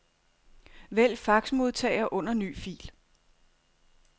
Vælg faxmodtager under ny fil.